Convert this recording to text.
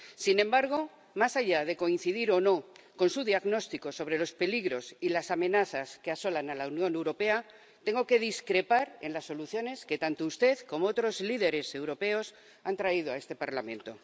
Sin embargo, más allá de coincidir o no con su diagnóstico sobre los peligros y las amenazas que asolan a la Unión Europea, tengo que discrepar en las soluciones que tanto usted como otros líderes europeos han traído a este Parlamento.